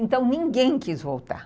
Então, ninguém quis voltar.